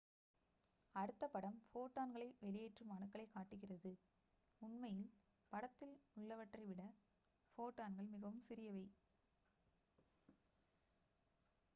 அடுத்த படம் ஃபோட்டான்களை வெளியேற்றும் அணுக்களைக் காட்டுகிறது உண்மையில் படத்தில் உள்ளவற்றை விட ஃபோட்டான்கள் மிகவும் சிறியவை